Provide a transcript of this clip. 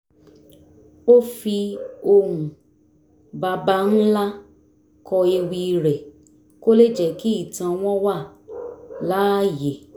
ó fi ohùn baba ńlá kọ ewì rẹ̀ kó lè jẹ́ kí ìtàn wọn wà láàyè